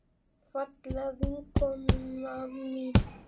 Fallega vinkona mín.